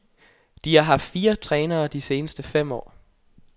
De har haft fire trænere de seneste fire år.